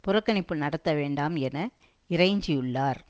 புறக்கணிப்பு நடத்த வேண்டாம் என இறைஞ்சியுள்ளார்